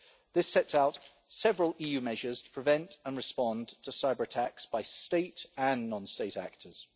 This sets out several EU measures to prevent and respond to cyber-attacks by state and non-state actors.